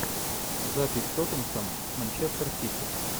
запись тоттенхэм с манчестер сити